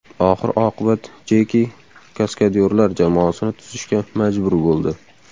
Oxir oqibat Jeki kaskadyorlar jamoasini tuzishga majbur bo‘ldi.